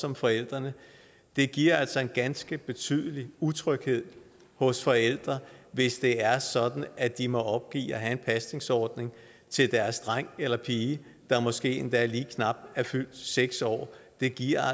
om forældrene det giver altså en ganske betydelig utryghed hos forældre hvis det er sådan at de må opgive at have en pasningsordning til deres dreng eller pige der måske endda lige knap er fyldt seks år det giver